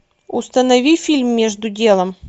установи фильм между делом